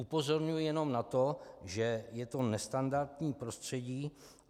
Upozorňuji jenom na to, že je to nestandardní prostředí.